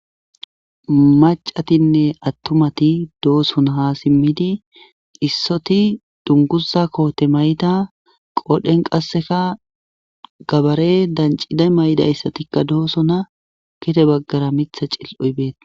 macatinne attumati doosona ha simmidi issoti dunguza koote mayida qoodhen qasseka gabare danciday mayidassatikka doosona gede baggara mitha cil7oy beets